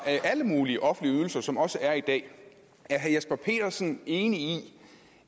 alle mulige offentlige ydelser som der også er i dag er herre jesper petersen enig i